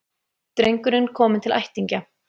Drengurinn kominn til ættingja